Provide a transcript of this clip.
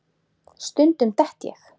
Stundum dett ég.